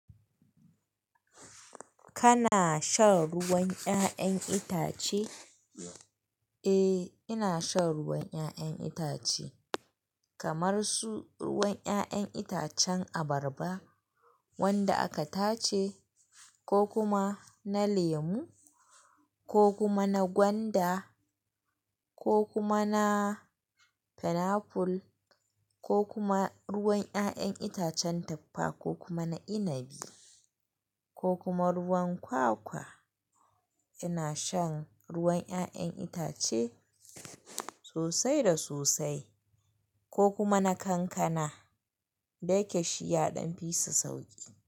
Kana shan ruwan 'ya'yan itace? Eh, ina shan ruwan 'ya'yan itace kamar su ruwan 'ya'yan itacen abarba wanda aka tace ko kuma na lemu ko kuma na gwanda ko kuma na pineapple ko kuma ruwan 'ya'yan itacen tuffa ko kuma na inabi ko kuma ruwan kwakwa. Ina shan ruwan 'ya'yan itace sosai da sosai ko kuma na kankana. Dayake shiya ɗan fi su sauki.